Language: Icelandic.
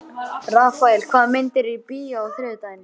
Rafael, hvaða myndir eru í bíó á þriðjudaginn?